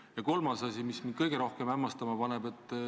Ja kolmas asi, mis mind kõige rohkem hämmastama paneb.